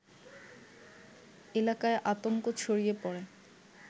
এলাকায় আতঙ্ক ছড়িয়ে পড়ে